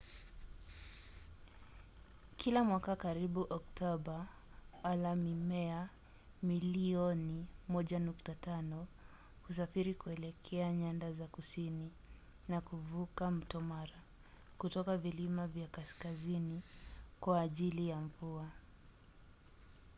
kila mwaka karibu oktoba wala-mimea milioni 1.5 husafiri kuelekea nyanda za kusini na kuvuka mto mara kutoka vilima vya kaskazini kwa ajili ya mvua